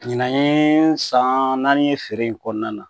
Ɲinan ye san naani ye feere in kɔnɔna na